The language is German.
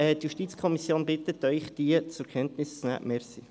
Die JuKo bittet Sie, diese zur Kenntnis zu nehmen.